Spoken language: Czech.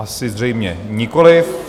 Asi zřejmě nikoliv.